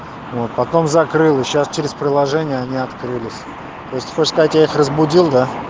вот потом закрыла сейчас через приложение они открылись то есть хочешь сказать я их разбудил да